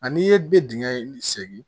Ani i ye bɛ dingɛ in segin